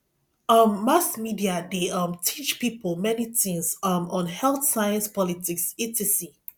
um mass media de um teach pipo many things um on health science politics etc